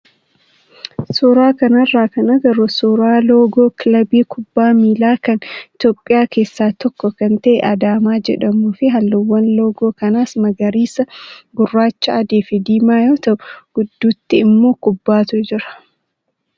Suuraa kanarraa kan agarru suuraa loogoo kilaba kubbaa miilaa kan Itoophiyaa keessaa tokko kan ta'e kan Adaamaa jedhamuu fi halluuwwan loogoo kanaas magariisa, gurraacha, adii fi diimaa yoo ta'u, gidduutti immoo kubbaatu jira.